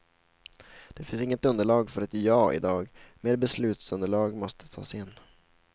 Det finns inget underlag för ett ja i dag, mer beslutsunderlag måste tas in.